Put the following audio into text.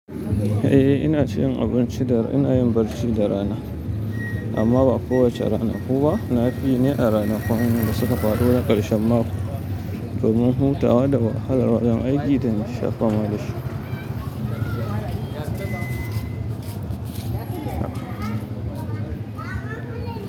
Eh ina cin abinci da rana, ina yin barci da rana. Amma ba kowace rana ku ba. Na fi yi ne a ranakun da suka faɗo na ƙarshen mako domin hutawa da wahalar wajen aiki da nasha fa ma dashi.